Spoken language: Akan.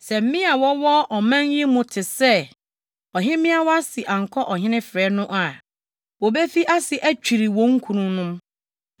Sɛ mmea a wɔwɔ ɔman yi mu te sɛ ɔhemmea Wasti ankɔ ɔhene frɛ no a, wobefi ase atwiri wɔn kununom.